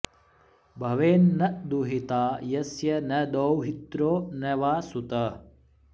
भवेन्न दुहिता यस्य न दौहित्रो न वा सुतः